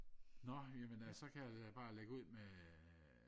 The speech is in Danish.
nå ja men øh ja så kan jeg jo bare lægge ud med øh